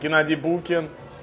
геннадий букин